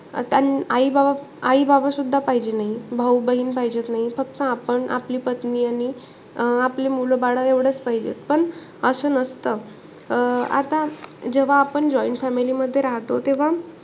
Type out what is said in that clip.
आता आई बाबा आई बाबासुद्धा पाहिजे नाई. भाऊ बहीण पाहिजेचं नाई. फक्त आपण, आपली पत्नी आणि अं आपले मुलं बाळ एवढेचं पाहिजेत. पण असं नसत. अं आता जेव्हा आपण joint family मध्ये राहतो तेव्हा,